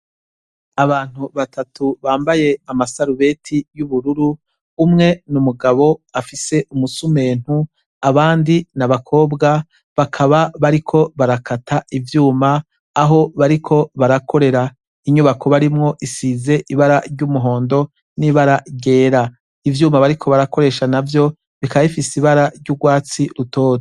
Abantu batatu bambaye amasarubeti yubururu umwe numugabo afise umusumentu abandi nabakobwa bakaba bariko barakata ivyuma aho bariko barakorera inyubako barimwo isize ibara ryumuhondo nibara ryera ivyuma bariko barakoresha navyo bikaba bifise ibara ryurwatsi rutoto